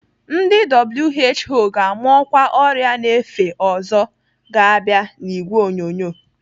Ndị WHO ga-ama ọkwa ọrịa na-efe ọzọ ga-abịa n'ìgwè onyonyo.